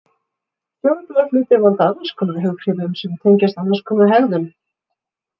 Fjólubláir hlutir valda annarskonar hughrifum sem tengjast annarskonar hegðun.